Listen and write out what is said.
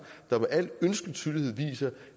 der med al ønskelig tydelighed viser